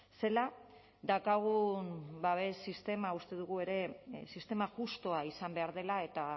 zela daukagun babes sistema uste dugu ere sistema justua izan behar dela eta